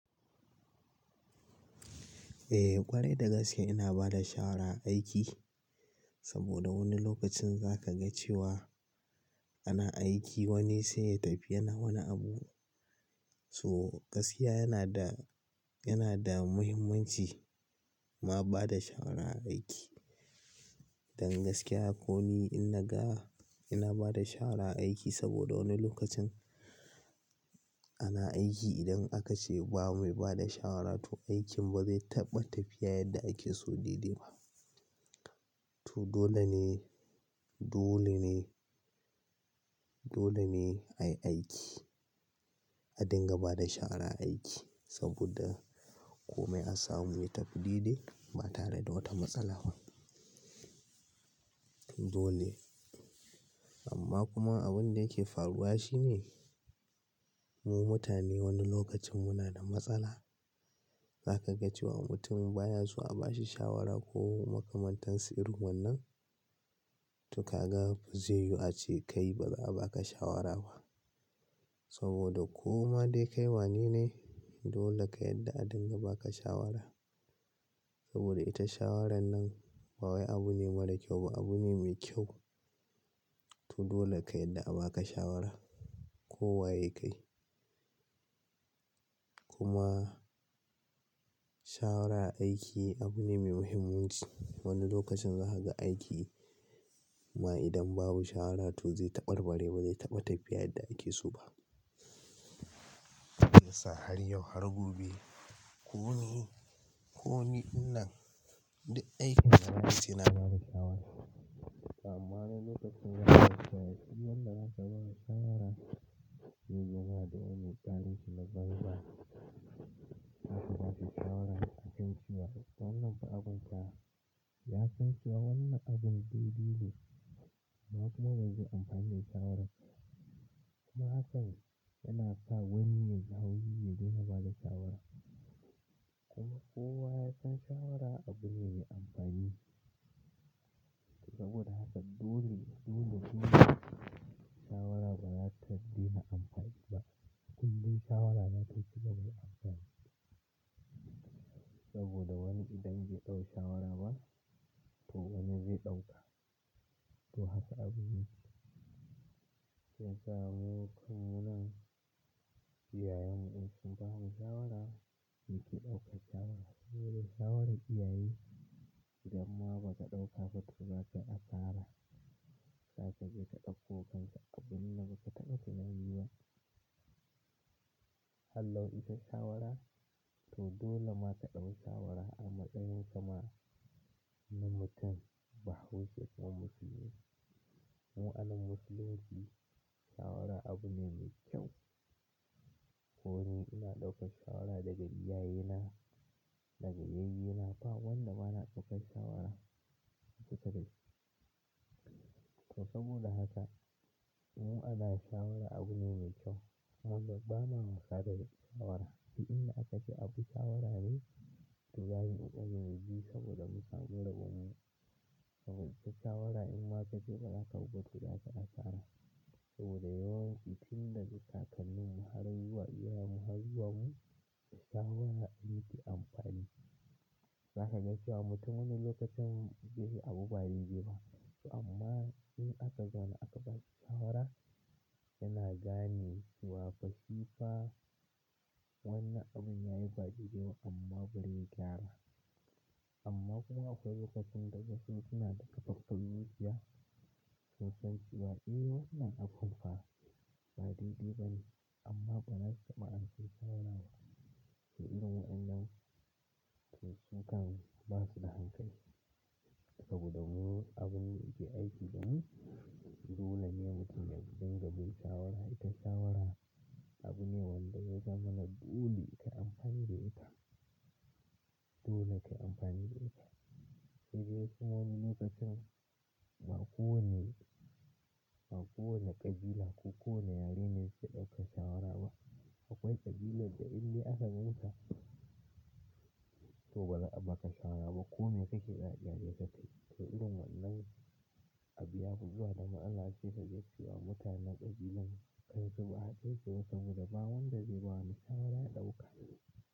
Eh ƙwarai da gaske ina bada shawara aiki, saboda wani lokacin za ka ga cewa, ana aiki wani sai ya tafi yana wani abu. So gaskiya yana da, yana da muhimmanci ma bada shawara a aiki. Dan gaskiya ko ni inna ga ina bada shawara a aiki saboda wani lokacin ana aiki idan aka ce ba mai bada shawara to aikin ba zai taɓa tafiya yadda ake so dai dai ba. To dole ne, dole ne, dole ne a yi aiki a dinga bada shawara a aiki saboda kome a samu ya tafi dai-dai ba tare da wata matsala ba. Dole. Amma kuma abun da yake faruwa shine mu mutane wani lokacin muna da matsala. Za ka ga cewa mutum baya so a ba shi shawara ko makamantansu irin wannan, to ka ga zai yu ce kai ba za a ba ka shawara ba saboda koma dai kai wane ne dole ka yadda a dinga ba ka shawara. Saboda ita shawaran nan ba wai abu ne mara kyau ba, abu ne mai kyau. To dole ka yadda a ba ka shawara ko waye ka yi. Kuma, shawara a aiki abu ne mai muhimmanci. Wani lokacin za ka ga aiki ma idan babu shawara to zai ta ɓar ɓare ba zai taɓa tafiya yadda ake so ba. So har yau har gobe. Ko ni, ko ni ina duk aikin da mutum suna ba da shawara. Amma wani lokacin za ka ga sai idan wanda za ka ba wa shawara ya zuba da wani ƙalinshi na banza za ka ba shi shawara ya san cewa wannan ba abun ka ba. Ya san cewa wannan abun zai dole. Ba kuma zai amfane shawararsa. Kuma hakan yana sa wani yaji haushi ya daina ba da shawara. Kuma kowa yasan shawara abu ne mai amfani. Saboda haka dole, dole shi shawara ba za ta daina amfani ba. Kun bi shawara za ta cigaba da amfani. Saboda wani idan bai ɗau shawara ba to wani zai ɗauka. To haka abun yake. Sai ka gan yau kamunan iyayenmu sun ba mu shawara muke ɗaukar shawara. Saboda shawaran iyaye, idan ma ba ka ɗauka ba to za ka yi asara. Za ka je ka ɗauko kanka abun da ba ka taɓa tunani ba. Har lau ita shawara. To dole ma ka ɗau shawara a matsayin kama na mutum. Bahbushe ko musulmi. Mu anan musulunci shawara abu ne mai kyau. Ko ni ina ɗaukar shawara daga iyayena, daga yayyenna ba wanda bana ɗaukar shawara. To saboda haka mu ana shawara abu ne mai kyau. Wannan ba na musa da shi shawara. To inda aka ce abu shawara ne to gani in ji saboda mu samu rabon mu. Saboda ita shawara in ma ka je ba za ka guɓa kuɗi aka ɗa ƙara. Saboda yawanci tun daga kakanninmu har zuwa iyayenmu har zuwa mu, shawara an yi ke amfani. Za ka ga cewa mutum wani lokacin zai yi abu ba dai dai ba. To amma in aka zauna aka bashi shawara yana gane cewa fa shi fa wannan abun ya yi ba dai dai ba amma bari ya gyara. Amma kuma akwai lokacin da gaskiya suna da ƙaƙƙarrukiya su san cewa eh wannan abun fa ba didde ba ne amma banas ba an kai shawara ba. To irin wannan su kan basu da hankali saboda mu abun aiki idan dole ne mutum ya dinga bin shawara. Ita shawara abu ne wanda zai zamana dole ka amfani da ita. Dole ka amfani da ita. Idan kuma wani lokacin ba kowane, ba kowane ƙabila ko kowane yare ne zai ɗauka shawara ba. Akwai ƙabilan da inda aka ganka to ba za a ba ka shawara ba. Ko me kake daɗe daɗe ka tafi. To irin wannan abu yafi zuwa da ma'azaci ka gaishewa mutanen ƙabilan kai su ba ka ce wa saboda ba wanda zai ba wani shawara ya ɗauka.